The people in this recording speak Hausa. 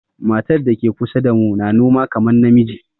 Matar da ke kusa damu na noma kaman na miji.